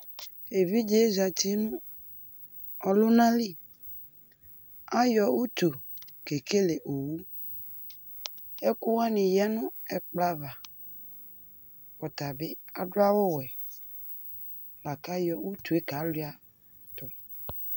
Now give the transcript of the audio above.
Evidzee zati nʋ ɔluna liAyɔ utu kekele owuƐkʋwani yanʋ ɛkplɔ'avaƆtabi adʋ awu wɛLakayɔ utue kaluia tu